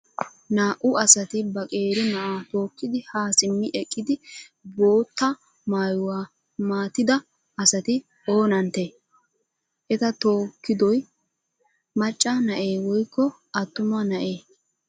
Naa"u asati ba qeeri na'a tookidi ha simmi eqqidi bootta maayuwaa maatida asati oonantte? Eta tookidoy macca na'ee woykko attuma ma'ee?